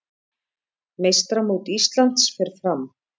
Meistaramót Íslands fer fram